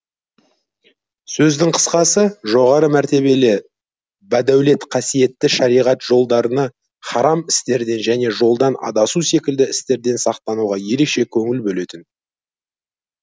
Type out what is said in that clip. сөздің қысқасы жоғары мәртебелі бадәулет қасиетті шариғат жолдарына харам істерден және жолдан адасу секілді істерден сақтануға ерекше көңіл бөлетін